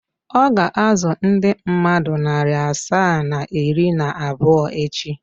Ọ ga-azụ ndị mmadụ narị asaa na iri na abụọ echi.